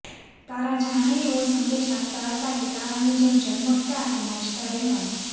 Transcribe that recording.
તારા જાણે એવો સંદેશ આપતા હતા કે તારાની જેમ ઝગમગતા અને નાચતા રહેવાનું